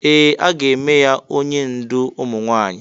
Ee! A ga-eme ya onye ndú ụmụ nwaanyị.